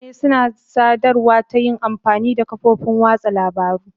Mutane suna sadarwa ta yin amfani da kafofin watsa labarun.